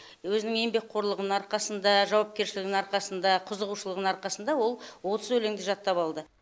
өзінің еңбекқорлығының арқасында жауапкершілігінің арқасында қызығушылығының арқасында ол отыз өлеңді жаттап алды